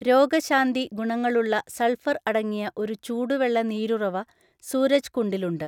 രോഗശാന്തി ഗുണങ്ങളുള്ള സൾഫർ അടങ്ങിയ ഒരു ചൂടുവെള്ള നീരുറവ സൂരജ്കുണ്ഡിലുണ്ട്.